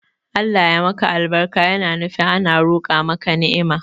Allah ya maka albarka yana nufi ana roqa maka ni'ima